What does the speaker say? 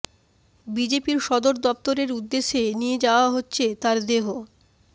বিজেপির সদর দফতরের উদ্দেশ্যে নিয়ে যাওয়া হচ্ছে তার দেহ